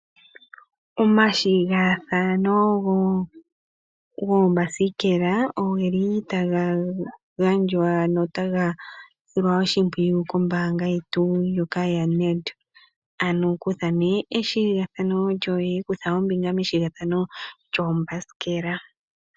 Omathigathano goombasikela ogeli taga gandjwa notaga silwa oshimpwiyu kombaanga yoNedbank . Ano kutha ombinga methigathano lyoombasikela.